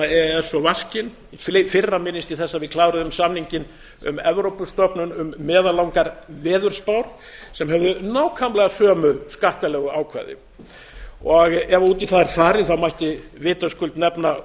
s og vaskinn í fyrra minnist ég þess að við kláruðum samninginn um evrópustofnun um meðallangar veðurspár sem höfðu nákvæmlega sömu skattalegu ákvæðin ef út í það væri farið mætti vitaskuld nefna